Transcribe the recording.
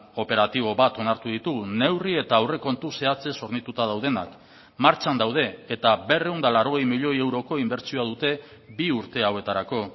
operatibo bat onartu ditugu neurri eta aurrekontu zehatzez hornituta daudenak martxan daude eta berrehun eta laurogei milioi euroko inbertsioa dute bi urte hauetarako